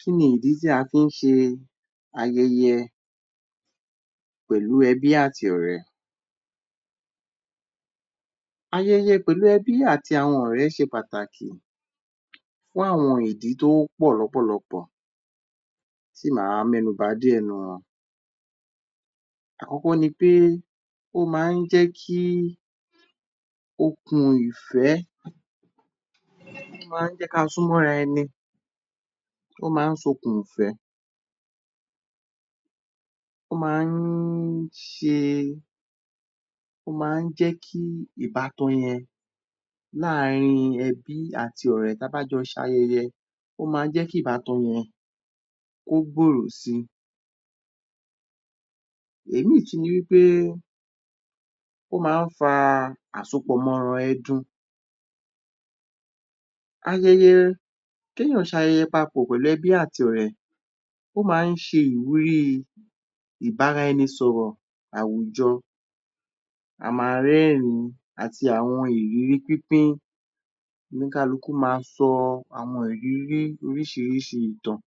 Kí ni ìdí tí a fí ń ṣe ayẹyẹ pẹ̀lú ẹbí àti ọ̀rẹ́? Ayẹyẹ pẹ̀lú ẹbí àti àwọn ọ̀rẹ́ ṣe pàtàkì fún àwọn ìdí tó pọ̀ lọ́pọ̀lọpọ,̀ tí máa mẹ́nuba díẹ̀ nínú wọn. Àkọ́kọ́ ní pé ó máa ń jé kí okùn ìfẹ́, ó máa ń jé kí a súmọ́ ara ẹni, ó máa ń so okùn ìfẹ́, ó máa ń ṣe, ó máa ń jẹ́ kí ìbatan yẹn láàrin ẹbí àti ọ̀rẹ́, tí a bá jọ ṣe ayẹyẹ, ó máa ń jẹ́ kí ìbatan yẹn, kó gbòrò si. Ìmí tún ni pé, ó máa ń fa àsopọ mọ́ ara ẹdun. Ayẹyẹ, kí èèyàn ṣe ayẹyẹ pọ̀ pẹ̀lú ẹbí àti ọ̀rẹ́, ó máa ń ṣe ìwúrí ìbára ẹni sọ̀rọ̀ àwùjọ, a máa rẹ́rìn-ín àti àwọn ìrírí pípín, oníkálukú máa sọ àwọn ìrírí oríṣìíríṣìí ìtàn,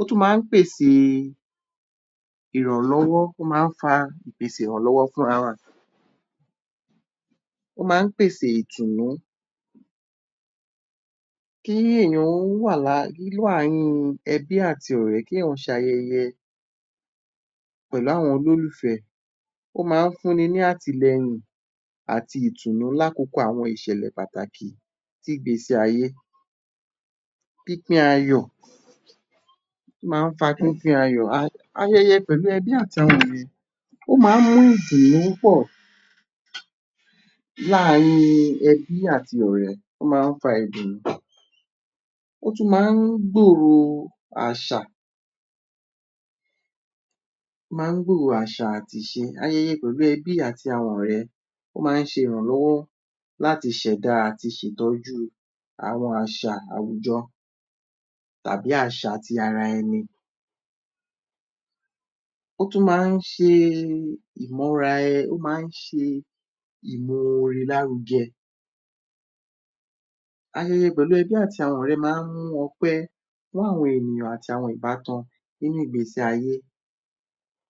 ó tún máa ń pèsè ìrànlọ́wọ́, ó máa ń fa ìpèsè ìrànlọ́wọ́ fún ara wa. Ó máa ń pèsè ìtùnú, kí èèyàn wà láàrin ẹbí àti ọ̀rẹ́ kí èèyàn ṣe ayẹyẹ pẹ̀lú àwọn olólùfẹ́, ó máa ń fún ni ní àtìlẹyìn àti ìtùnú lákókò àwọn ìṣẹ̀lẹ̀ pàtàkì ní ìgbésí-ayé. Pípín ayọ̀, ó máa ń fa pípín ayọ̀, ayẹyẹ pẹ̀lú ẹbí àti àwọn ọ̀rẹ́, ó máa ń mú ìdùnnú pọ̀ láàrin ẹbí àti ọ̀rẹ́, ó máa ń fa ìdùnú, ó tún máa ń gbòrò àṣà, ó máa ń gbòrò àṣà àti ìṣe. Ayẹyẹ pẹ̀lú ẹbí àti àwọn ọ̀rẹ́, ó máa ń ṣe ìrànlọ́wọ́ láti ṣẹ̀dá àti ṣe ìtọ̀jú àwọn àṣà àwùjọ tàbí àṣà ti ara ẹni. Ó tún máa ń ṣe ìmọra, ó máa ń ṣe ìmore lárugẹ, ayẹyẹ pẹ̀lú ẹbí àti àwọn ọ̀rẹ́ máa ń mú ọpẹ́ láàrin àwọn èèyàn àti ìbátan nínú ìgbésí ayé.